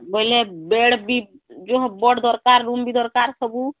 ବୋଇଲେ Bed ବି ବଡ଼ ଦରକାର room ବି ଦରକାର ସବୁ